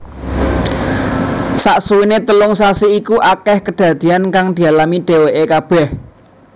Saksuwéné telung sasi iku akèh kedadéyan kang dialami dhèwèké kabèh